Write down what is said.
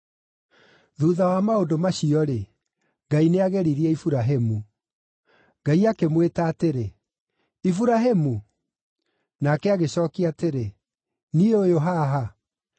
Thuutha wa maũndũ macio-rĩ, Ngai nĩageririe Iburahĩmu. Ngai akĩmwĩta atĩrĩ, “Iburahĩmu!” Nake agĩcookia atĩrĩ, “Niĩ ũyũ haha.”